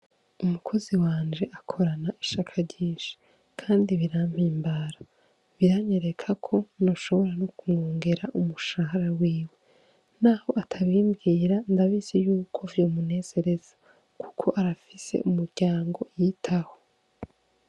Umukozi wanje akorana ishaka ryinshi kandi birampimbara, biranyereka ko noshobora no kumwongera umushahara wiwe, naho atabimbwira ndabizi yuko vyomunezereza kuko arafise umuryango yitaho.